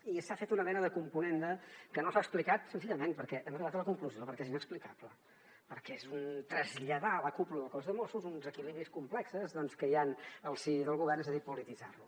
i s’ha fet una mena de componenda que no s’ha explicat senzillament perquè hem arribat a la conclusió és inexplicable perquè és traslladar a la cúpula del cos de mossos uns equilibris complexos doncs que hi han al si del govern és a dir polititzar lo